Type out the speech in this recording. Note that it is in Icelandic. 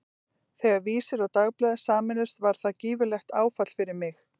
Þegar Vísir og Dagblaðið sameinuðust var það gífurlegt áfall fyrir mig.